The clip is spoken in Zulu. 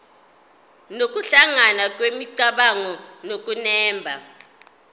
nokuhlangana kwemicabango nokunemba